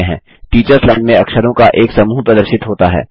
teachers line में अक्षरों का एक समूह प्रदर्शित होता है